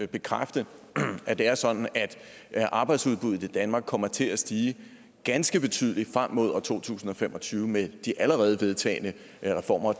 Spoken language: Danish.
bekræfte at det er sådan at arbejdsudbuddet i danmark kommer til at stige ganske betydeligt frem mod år to tusind og fem og tyve med de allerede vedtagne reformer og